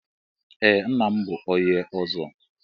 Ee ńnà m bụ ónyé ọzọ.